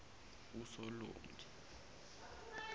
usolongi